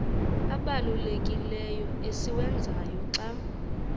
obalulekileyo esiwenzayo xa